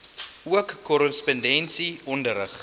ook korrespondensie onderrig